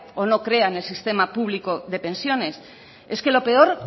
o no crea en el sistema público de pensiones lo peor